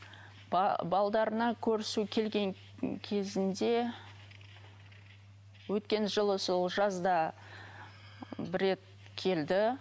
көрісу келген кезінде өткен жылы сол жазда бір рет келді